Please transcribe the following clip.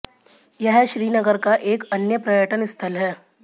यह श्रीनगर का एक अन्य पर्यटन स्थल है